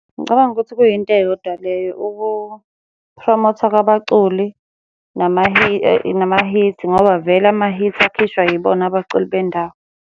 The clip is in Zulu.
Ngicabanga ukuthi kuyinto eyodwa leyo ukuphromothwa kwabaculi nama-hit ngoba vele ama-hit akhishwa yibona abaculi bendawo.